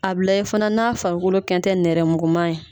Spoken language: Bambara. A bi lajɛ fana n'a farikolo kɛ n tɛ nɛrɛmuguma ye